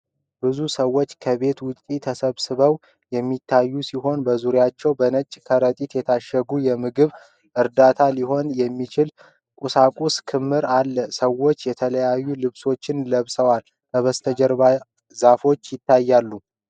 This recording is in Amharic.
ብዙ ሰዎች ከቤት ውጭ ተሰብስበው የሚታዩ ሲሆን፣ በዙሪያቸውም በነጭ ከረጢቶች የታሸጉ የምግብ ዕርዳታ ሊሆን የሚችል ቁሳቁስ ክምር አለ። ሰዎች የተለያዩ ልብሶችን ለብሰዋል፤ ከበስተጀርባ ዛፎች ይታያሉ።